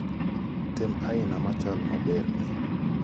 tem aina machal maberni